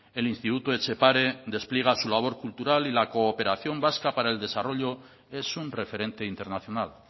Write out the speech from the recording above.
el instituto etxepare despliega su labor cultural y la cooperación vasca para el desarrollo es un referente internacional